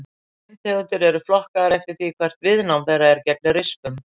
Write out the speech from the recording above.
Steintegundir eru flokkaðar eftir því hvert viðnám þeirra er gegn rispum.